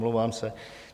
Omlouvám se.